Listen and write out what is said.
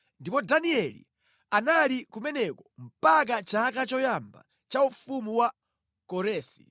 Ndipo Danieli anali kumeneko mpaka chaka choyamba cha ufumu wa Koresi.